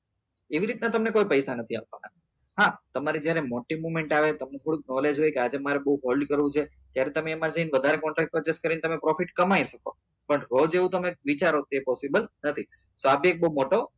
એવી રીતે તમને કોઈ પૈસા નથી આપતુંને હા તમારે કોઈ મોટી movement આવે તમને થોડું knowledge હોય કે આજે મારે બઉ hold કરવું છે ત્યારે તમે એમાં જી ને વધારે contract purchase કરી ને તમે profit કમાઈ શકો પણ રોજ તમે એવું વિચારો તે possibel નથી મોટો